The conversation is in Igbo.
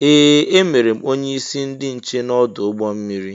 Ee! E mere m onyeisi ndị nche n'ọdụ ụgbọ mmiri.